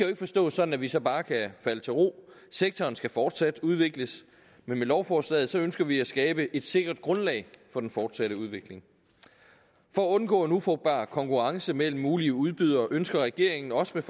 ikke forstås sådan at vi så bare kan falde til ro sektoren skal fortsat udvikles men med lovforslaget ønsker vi at skabe et sikkert grundlag for den fortsatte udvikling for at undgå en ufrugtbar konkurrence mellem mulige udbydere ønsker regeringen også med